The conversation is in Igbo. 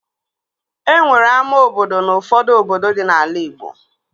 E nwere ama obodo n'ufọdụ obodo dị n'ala igbo